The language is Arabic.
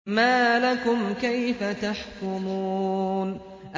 مَا لَكُمْ كَيْفَ تَحْكُمُونَ